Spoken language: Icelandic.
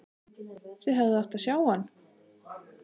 Þið hefðuð átt að sjá hann!